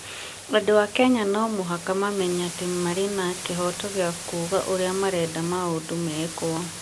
Andũ a Kenya no mũhaka mamenye atĩ marĩ na kĩhooto gĩa kuuga ũrĩa marenda maũndũ mekwo.